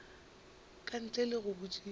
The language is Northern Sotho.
ka ntle le go botšiša